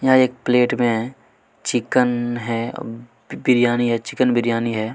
यहाँ एक प्लेट में है चिकन है बिरयानी हैं चिकन बिरयानी है।